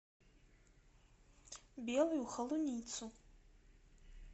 белую холуницу